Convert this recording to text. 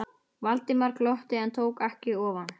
Valdimar glotti en tók ekki ofan.